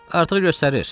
Artıq göstərir.